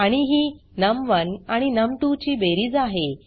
आणि ही नम1 आणि नम2 ची बेरीज आहे